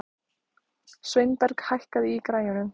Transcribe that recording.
Sveinberg, hækkaðu í græjunum.